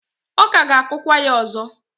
ọ ka ga-akụkwa ya ọzọ.